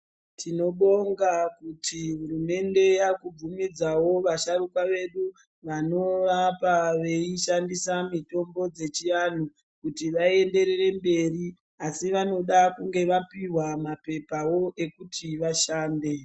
Tinobonga kuti hurumende yaakubvumidzawo vasharuka vedu vanorapa veishandisa mitombo dzechiatu kuti vaenderere mberi. Asi vanoda kunge vapihwa mapepawo ekuti vashande.